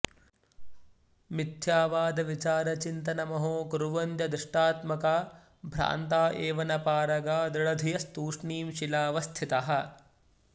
मिथ्यावादविचारचिन्तनमहो कुर्वन्त्यदृष्टात्मका भ्रान्ता एव न पारगा दृढधियस्तूष्णीं शिलावत्स्थितः